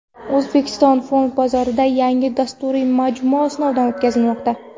O‘zbekiston fond bozorida yangi dasturiy majmua sinovdan o‘tkazilmoqda.